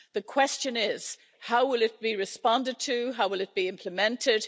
The question is how will it be responded to how, will it be implemented?